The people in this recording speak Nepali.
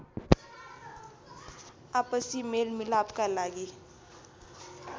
आपसी मेलमिलापका लागि